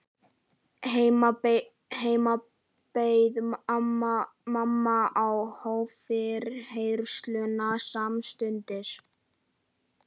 Heima beið mamma og hóf yfirheyrsluna samstundis.